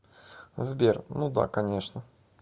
сбер ну да конечно